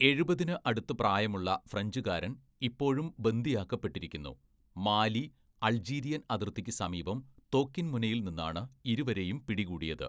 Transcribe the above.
എഴുപതിന് അടുത്ത് പ്രായമുള്ള ഫ്രഞ്ചുകാരൻ ഇപ്പോഴും ബന്ദിയാക്കപ്പെട്ടിരിക്കുന്നു, മാലി, അൾജീരിയൻ അതിർത്തിക്ക് സമീപം തോക്കിൻ മുനയിൽ നിന്നാണ് ഇരുവരെയും പിടികൂടിയത്.